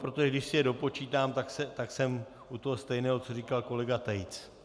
Protože když si je dopočítám, tak jsem u toho stejného, co říkal kolega Tejc.